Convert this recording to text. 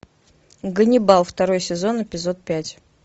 ганнибал второй сезон эпизод пять